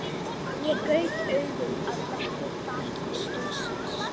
Ég gaut augum að breiðu baki stólsins.